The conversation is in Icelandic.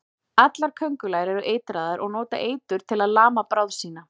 Allar köngulær eru eitraðar og nota eitur til að lama bráð sína.